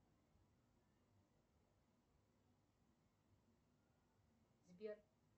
сбер